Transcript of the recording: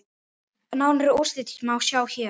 Nánari úrslit má sjá hér.